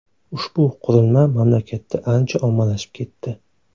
Ushbu qurilma mamlakatda ancha ommalashib ketdi.